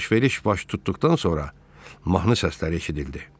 Alış-veriş baş tutduqdan sonra mahnı səslər eşidildi.